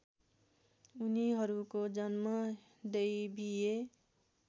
उनीहरूको जन्म दैवीय